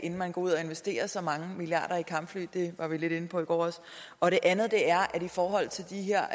inden man går ud og investerer så mange milliarder i kampfly det var vi også lidt inde på i går og det andet er at i forhold til de her